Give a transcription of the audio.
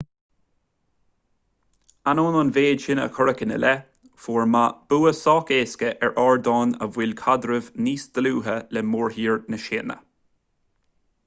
ainneoin an mhéid sin a cuireadh ina leith fuair ma bua sách éasca ar ardán a mhol caidreamh níos dlúithe le mórthír na síne